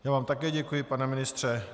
Já vám také děkuji, pane ministře.